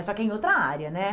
Só que em outra área, né?